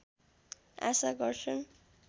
आशा गर्छन्